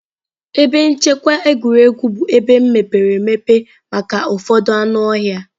Ebe nchekwa egwuregwu bụ ebe mepere emepe maka ụfọdụ anụ ọhịa